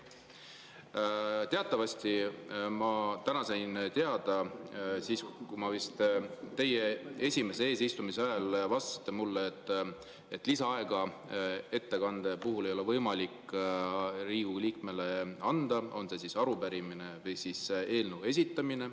Teatavasti ma täna sain teada, te oma esimese eesistumise ajal vastasite mulle, et lisaaega ettekande puhul ei ole võimalik Riigikogu liikmele anda, on see siis arupärimise või eelnõu esitamine.